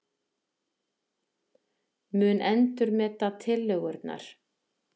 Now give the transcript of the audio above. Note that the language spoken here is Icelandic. Mun endurmeta tillögurnar